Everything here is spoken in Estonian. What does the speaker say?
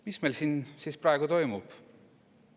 Mis meil siin siis praegu toimub?